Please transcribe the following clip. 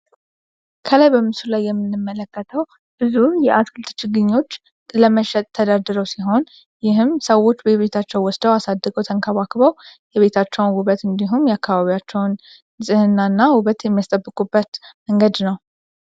ከላይ በምስሉን ላይ የምንመለከተው ብዙ የአትክልት ችግኞች ስለመሸም ሰዎች በቤታቸው ወስደው አሳድጎ የቤታቸውን ውበት እንዲሁም የአካባቢያቸውንና ውበት መንገድ ነው።